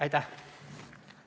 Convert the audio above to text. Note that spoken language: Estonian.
Aitäh!